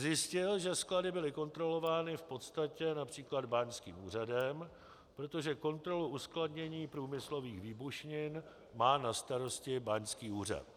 Zjistil, že sklady byly kontrolovány v podstatě například báňským úřadem, protože kontrolu uskladnění průmyslových výbušnin má na starosti báňský úřad.